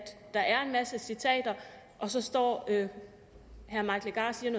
der er en masse citater og så står herre mike legarth